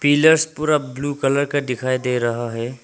Pillars पूरा blue colour का दिखाई दे रहा है।